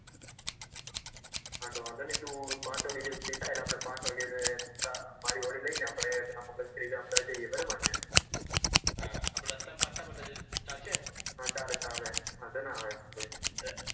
હા વાંઘો ની તું પાંચ વાગે ફ્રી થાય મારી ગાડી લઈ અમદાવાદ જઈએ બરાબર ને હા રસ્તા માં ફરતા ફરતા જઈસુ ચાલશે ને હા ચાલે વાંઘો ન આવે